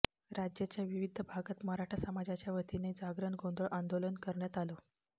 राज्याच्या विविध भागात मराठा समाजाच्या वतीने जागरण गोंधळ आंदोलन करण्यात आलं